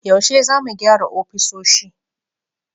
Yaushe za mu gyara ofisoshi?